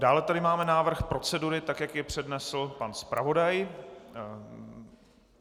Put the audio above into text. Dále tady máme návrh procedury, tak jak jej přednesl pan zpravodaj.